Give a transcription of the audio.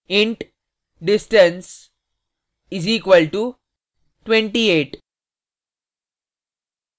int distance equal to 28